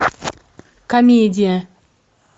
комедия